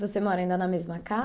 Você mora ainda na mesma casa.